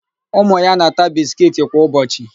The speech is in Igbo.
Ụmụ ya na-ata biskiiti kwa ụbọchị.